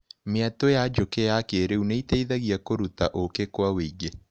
Mĩatũ ya njũkĩ ya kĩrĩu nĩiteithagia kũrurta ũkĩ kwa wĩingĩ.